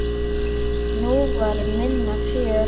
Nú var minna fjör.